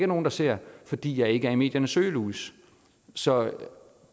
nogen der ser fordi jeg ikke er i mediernes søgelys så